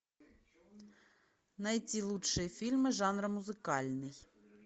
найти лучшие фильмы жанра музыкальный